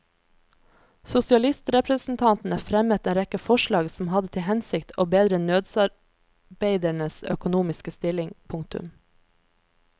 Sosialistrepresentantene fremmet en rekke forslag som hadde til hensikt å bedre nødsarbeidernes økonomiske stilling. punktum